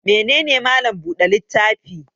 Mene ne Mallam buɗe littafi?